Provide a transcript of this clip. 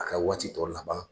A ka waati tɔw laban